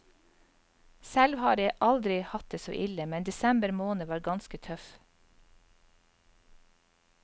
Selv har jeg aldri hatt det så ille, men desember måned var ganske tøff.